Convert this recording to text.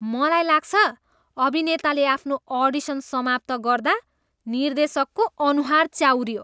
मलाई लाग्छ, अभिनेताले आफ्नो अडिसन समाप्त गर्दा निर्देशकको अनुहार चाउरियो।